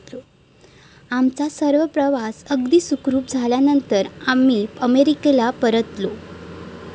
आमचा सर्व प्रवास अगदी सुखरुप झाल्यानंतर आम्ही अमेरिकेला परतलो.